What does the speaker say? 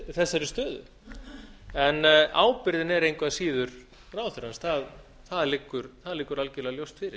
þessari stöðu ábyrgðin er engu að síður ráðherrans það liggur algjörlega ljóst fyrir